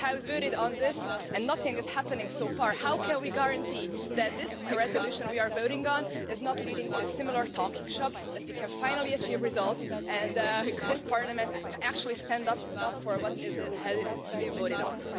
This House voted on this and nothing is happening so far. How can we guarantee that this resolution we are voting on will not lead to a similar talking shop, that we can finally achieve results and that this Parliament actually stands up for what has been voted on?